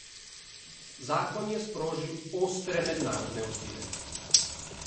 Zakon je sprožil ostre mednarodne odzive.